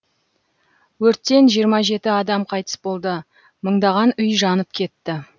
өрттен жиырма жеті адам қайтыс болды мыңдаған үй жанып кетті